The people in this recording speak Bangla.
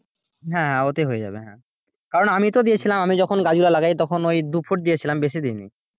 হাঁ ওতেই হয়ে যাবে হ্যাঁ কারণ আমি তো দিয়েছিলাম ওই দুফুট দিয়েছিলাম বেশি দিইনি।